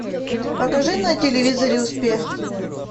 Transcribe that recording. покажи на телевизоре успех